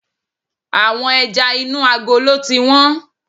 Àwọn ẹja inú agolo ti wón.